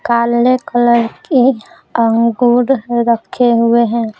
काले कलर कीअंगूर रखे हुए हैं।